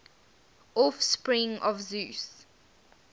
offspring of zeus